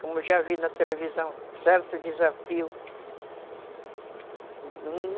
Como eu já vi na televisão, certo desafio.